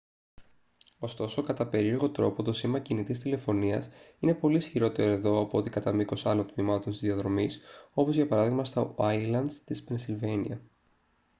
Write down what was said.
ωστόσο κατά περίεργο τρόπο το σήμα κινητής τηλεφωνίας είναι πολύ ισχυρότερο εδώ από ό,τι κατά μήκος άλλων τμημάτων της διαδρομής όπως για παράδειγμα στα ουάιλντς της πενσιλβάνια